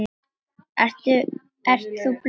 Ert þú blönk?